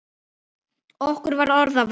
Okkur var orða vant.